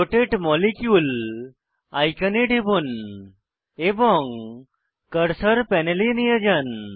রোটাতে molecule আইকনে টিপুন এবং কার্সার প্যানেলে নিয়ে যান